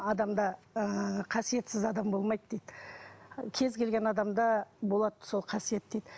адамда ыыы қасиетсіз адам болмайды дейді кез келген адамда болады сол қасиет дейді